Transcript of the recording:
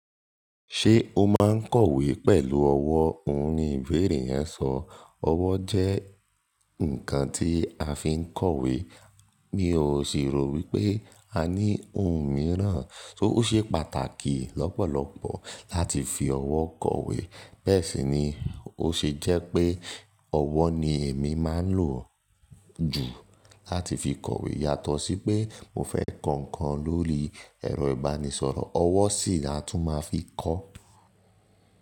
"Ṣé o máa ń kọ̀wé pẹ̀lú ọwọ́?" òun ni ìbéèrè yẹn sọ. Ọwọ́ jẹ́ ǹkan tí a fi ń kọ̀wé, mi ò sì rò wípé a ní ohun mìíràn. Ó ṣe pàtàkì lọ́pọ̀lọpọ̀ láti fi ọwọ́ kọ̀wé. Bẹ́ẹ̀ sì ni ó ṣe jẹ́ pé ọwọ́ ni èmi máa ń lò jù láti fi kọ̀wé yàtọ̀ sí pé mo fẹ́ kọ ǹkan lórí ẹ̀rọ ìbánisọ̀rọ̀, ọwọ́ sì ni a tún máa fi kọ.